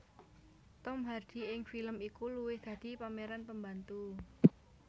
Tom Hardy ing film iku luwih dadi pemeran pembantu